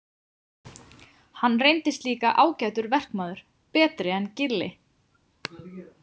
Hann reyndist líka ágætur verkmaður, betri en Gilli.